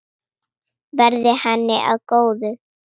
Verði henni að góðu.